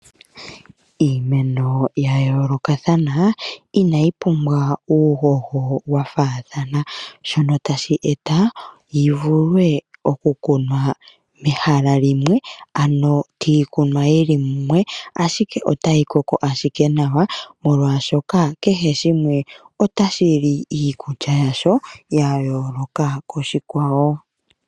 Iimeno ya yoolokathana inayi pumbwa uuhoho wa faathana, shono tashi eta yi vule oku kunwa mehala limwe, ano kiikunwa yili mumwe ashike otayi koko ashike nawa, molwaashoka kehe shimwe otashi li iikulya yasho ya yooloka koshikwawo.